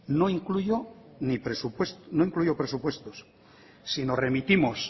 no incluyo presupuestos si nos remitimos